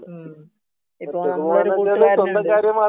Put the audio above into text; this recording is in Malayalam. മ്മ്ഹ് . ഇപ്പോ നമ്മളെ ഒരു കൂട്ടർ തന്നെ ഉണ്ട്